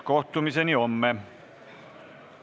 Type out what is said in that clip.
Kohtumiseni homme!